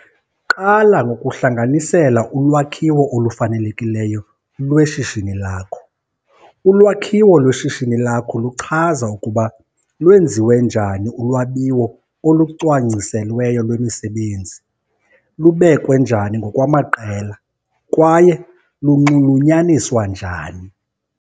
Qala ngokuhlanganisela ulwakhiwo olufanelekileyo lweshishini lakho. Ulwakhiwo lweshishini lakho luchaza ukuba lwenziwe njani ulwabiwo olucwangciselweyo lwemisebenzi, lubekwe njani ngokwamaqela kwaye lunxulunyaniswa njani.